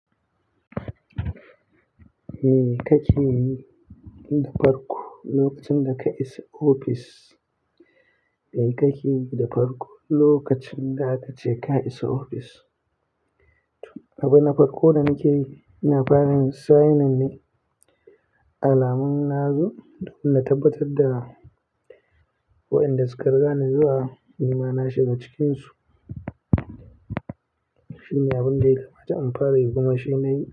Me kakeyi da farko lokacin da ka isa ofis? Me kakeyi da farko lokacin da kace ka isa ofis? Abin na farko da nakeyi ina fara sign in ne, alamun na zo domin na tabbatar da wa'inda suka riga ni zuwa nima na shiga cikin su shi ne abun da ya kamata in fara yi kuma shi nayi.